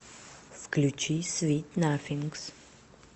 включи свит нафингс